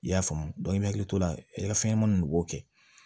I y'a faamu i hakili to la i ka fɛnɲɛnɛmaninw de b'o kɛ